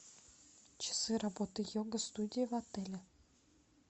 часы работы йога студии в отеле